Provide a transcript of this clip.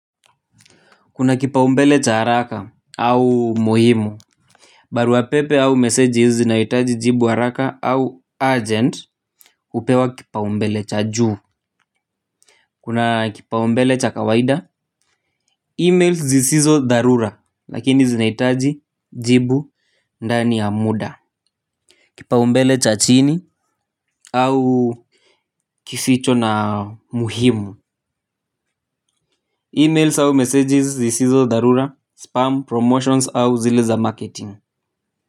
Kuna kipaumbele cha haraka au muhimu. Baruapepe au meseji zinaitaji jibu haraka au urgent hupewa kipaumbele cha juu. Kuna kipaumbele cha kawaida E-mails zisizo dharura lakini zinahitaji jibu ndani ya muda. Kipaumbele cha chini au kificho na muhimu E-mails au meseji zisizo dharura, spam, promotions au zile za marketing.